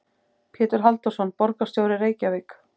Pétur Halldórsson, borgarstjóri í Reykjavík.